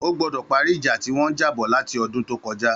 Ó gbọdọ pàrí ijà tiwọn ti n jà bọ làtí ọdùn tókọja